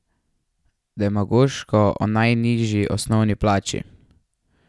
Demagoško o najnižji osnovni plači.